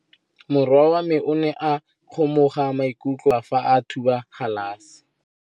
Morwa wa me o ne a kgomoga maikutlo ka go galefa fa a thuba galase.